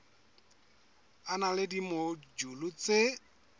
e na le dimojule tse